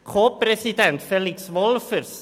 Co-Präsident ist Felix Wolffers.